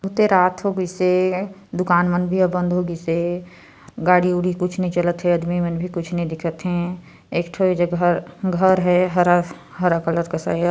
आते रात होगिसे दुकान मन भी ह बंद होगिसे गाड़ी उडी कुछ नई चालत हे आदमी मन भी कुछ नई दिखत हे एक ठो ए जगह घर है हरा हरा कलर का